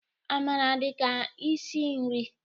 Amara dị ka isi nri